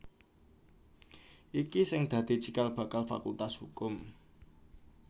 iki sing dadi cikal bakal Fakultas Hukum